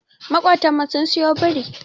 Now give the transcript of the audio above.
Makotan mu sun siyo biri.